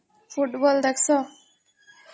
Football ଦେଖସ?